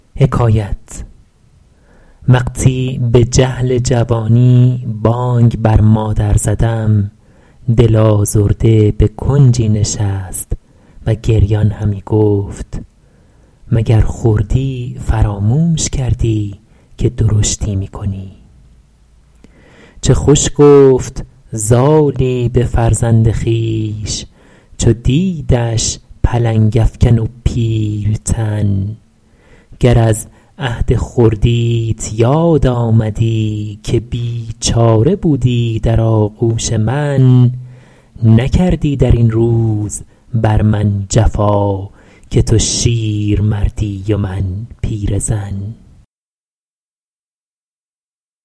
وقتی به جهل جوانی بانگ بر مادر زدم دل آزرده به کنجی نشست و گریان همی گفت مگر خردی فراموش کردی که درشتی می کنی چه خوش گفت زالی به فرزند خویش چو دیدش پلنگ افکن و پیل تن گر از عهد خردیت یاد آمدی که بیچاره بودی در آغوش من نکردی در این روز بر من جفا که تو شیرمردی و من پیرزن